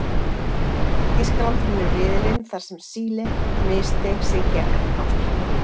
Þýskaland vinnur riðilinn þar sem Síle missteig sig gegn Ástralíu.